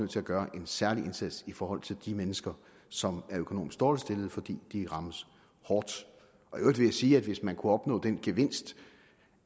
til at gøre en særlig indsats i forhold til de mennesker som er økonomisk dårligt stillet fordi de rammes hårdt i sige at hvis man kunne opnå den gevinst